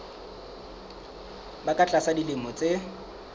ba ka tlasa dilemo tse